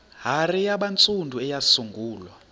hare yabantsundu eyasungulwa